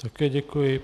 Také děkuji.